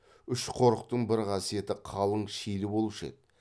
үш қорықтың бір қасиеті қалың шилі болушы еді